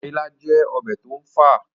ọbẹ̀ ilá jẹ́ ọbẹ̀ tó ń fà